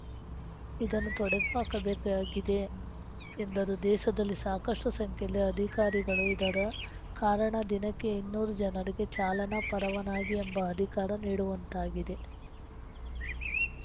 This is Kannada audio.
ಇದನ್ನು ತೊಡೆದುಹಾಕಬೇಕಾಗಿದೆ ಎಂದರು ದೇಸದಲ್ಲಿ ಸಾಕಷ್ಟುಸಂಖ್ಯೆಯಲ್ಲಿ ಅಧಿಕಾರಿಗಳು ಇರದ ಕಾರಣ ದಿನಕ್ಕೆ ಇನ್ನೂರು ಜನರಿಗೆ ಚಾಲನಾ ಪರವಾನಗಿ ಎಂಬ ಅಧಿಕಾರಿ ನೀಡುವಂತಾಗಿದೆ